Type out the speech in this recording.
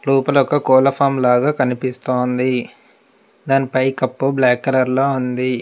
లోపల ఒక కోళ్ల ఫామ్ లాగా కనిపిస్తోంది దానిపై కప్పు బ్లాక్ కలర్ లో ఉంది